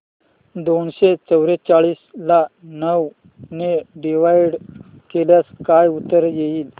दोनशे चौवेचाळीस ला नऊ ने डिवाईड केल्यास काय उत्तर येईल